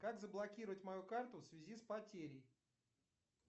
как заблокировать мою карту в связи с потерей